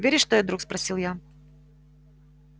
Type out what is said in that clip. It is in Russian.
веришь что я друг спросил я